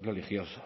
religiosa